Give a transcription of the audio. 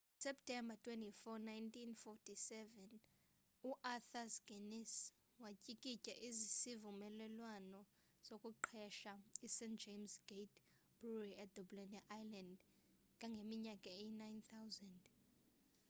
ngoseptemba 24 1759 uarthur guinness watyikitya isivumelwano sokuqesha ist james gate brewery edublin e-ireland kangangeminyaka eyi-9000